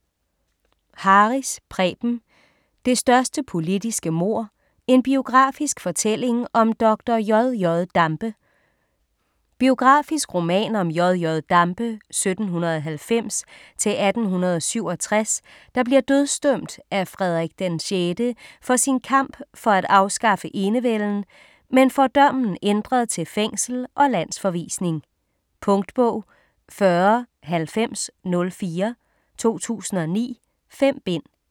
Harris, Preben: Det største politiske mord: en biografisk fortælling om dr. J.J. Dampe Biografisk roman om J.J. Dampe (1790-1867), der bliver dødsdømt af Frederik VI for sin kamp for at afskaffe enevælden, men får dommen ændret til fængsel og landsforvisning. Punktbog 409004 2009. 5 bind.